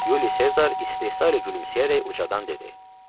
Yuli Sezar istehza ilə gülümsəyərək ucadan dedi: